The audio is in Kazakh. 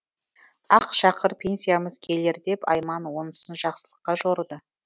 ақ шақыр пенсиямыз келер деп айман онысын жақсылыққа жорыды